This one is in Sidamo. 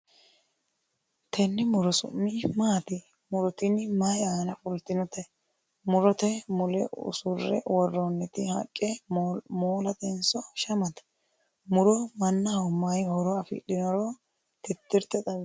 tenne muro su'mi maati? muro tini mayi aana fultinote ? murote mule usurre worroonniti haqqe moolatenso shamate? muro mannaho mayi horo afidhinoro titirte xawisi.